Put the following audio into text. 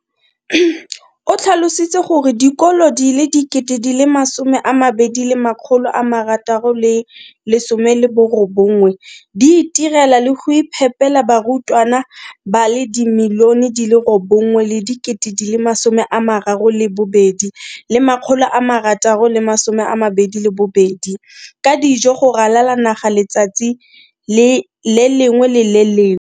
O tlhalositse gore dikolo di le 20 619 di itirela le go iphepela barutwana ba le 9 032 622 ka dijo go ralala naga letsatsi le lengwe le le lengwe.